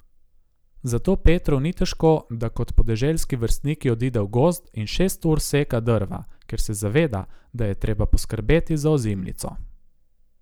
Zato Petru ni težko, da kot podeželski vrstniki odide v gozd in šest ur seka drva, ker se zaveda, da je treba poskrbeti za ozimnico.